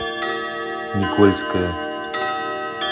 никольское